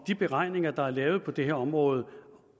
de beregninger der er lavet på det her område